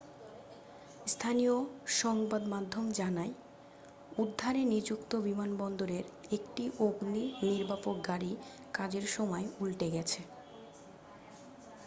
স্থানীয় সংবাদ মাধ্যম জানায় উদ্ধারে নিযুক্ত বিমানবন্দরের একটি অগ্নি নির্বাপক গাড়ি কাজের সময় উল্টে গেছে